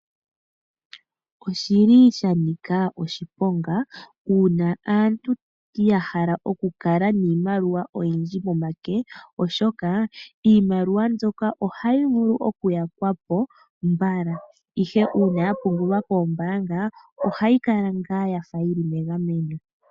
Oshili shanika oshiponga uuna aantu yahala okukala niimaliwa oyindji pomake, oshoka iimaliwa mbyoka ohayi vulu okuyakwapo mbala. Ihe uuna yapungulwa koombaanga ohayi kala ngaa yafa yili megameno.